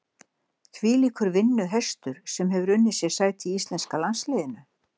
Þvílíkur vinnuhestur sem hefur unnið sér sæti í íslenska landsliðinu.